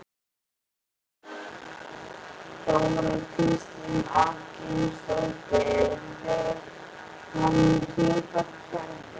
Þóra Kristín Ásgeirsdóttir: Þá erum við komin með tvöfalt kerfi?